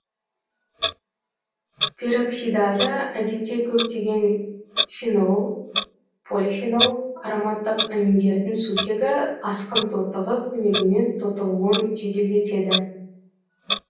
пероксидаза әдетте көптегең фенол полифенол ароматтық аминдердің сутегі асқын тотығы көмегімен тотығуын жеделдетеді